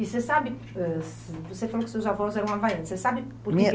E você sabe, eh sim, você falou que seus avós eram havaianos, você sabe por quê?